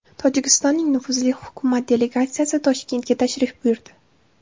Tojikistonning nufuzli hukumat delegatsiyasi Toshkentga tashrif buyurdi.